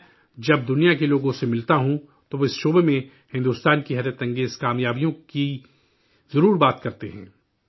میں جب دنیا کے لوگوں سے ملتا ہوں، تو وہ اس شعبے میں بھارت کی غیر معمولی کامیابی کا ذکر ضرور کرتے ہیں